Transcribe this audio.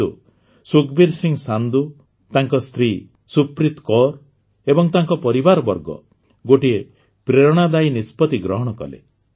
କିନ୍ତୁ ସୁଖବୀର ସିଂ ସାନ୍ଧୁ ତାଙ୍କ ସ୍ତ୍ରୀ ସୁପ୍ରିତ କୌର ଏବଂ ତାଙ୍କ ପରିବାରବର୍ଗ ଗୋଟିଏ ପ୍ରେରଣାଦାୟୀ ନିଷ୍ପତି ଗ୍ରହଣ କଲେ